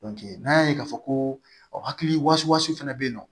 n'an y'a ye k'a fɔ ko hakili wasu fana bɛ yen nɔ